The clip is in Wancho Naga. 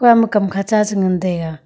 kam kha cha chi ngan taiga.